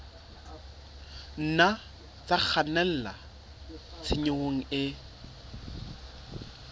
nna tsa kgannela tshenyong e